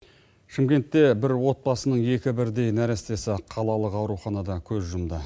шымкентте бір отбасының екі бірдей нәрестесі қалалық ауруханада көз жұмды